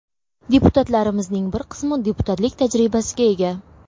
Deputatlarimizning bir qismi deputatlik tajribasiga ega.